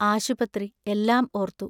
ആശുപത്രി എല്ലാം ഓർത്തു.